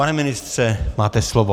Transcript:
Pane ministře, máte slovo.